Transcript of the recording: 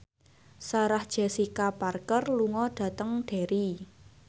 Sarah Jessica Parker lunga dhateng Derry